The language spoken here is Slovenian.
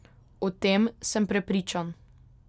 O tem sem prepričan.